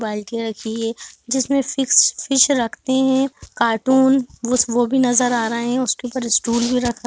बाल्टियां रखी है जिसमें फिक्स-फिश रखते है कार्टून वो भी नज़र आ रहा है उसके ऊपर स्टूल भी रखा --